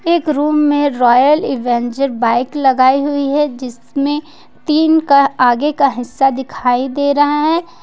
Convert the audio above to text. एक रूम में Royal Avenger bike लगाई हुई है जिसमें तीन का आगे का हिस्सा दिखाई दे रहा है ।